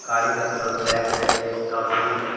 गाड़ी का colour black है एक का ब्लू ।